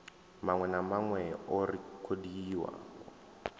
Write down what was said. maṅwe na maṅwe o rekhodiwaho